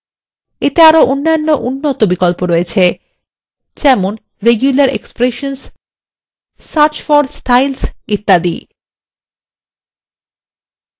এতে আরো অন্যান্য উন্নত বিকল্প রয়েছে যেমন regular expressions search for styles ইত্যাদি